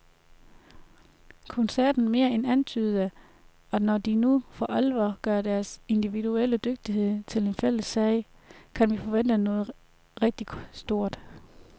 Koncerten mere end antydede, at når de nu for alvor gør deres individuelle dygtighed til en fælles sag, kan vi forvente noget rigtig stort.